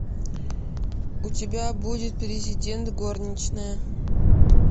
у тебя будет президент горничная